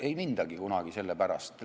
Ei mindagi kunagi selle pärast.